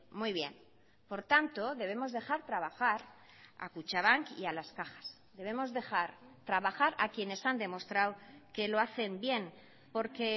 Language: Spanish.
muy bien por tanto debemos dejar trabajar a kutxabank y a las cajas debemos dejar trabajar a quienes han demostrado que lo hacen bien porque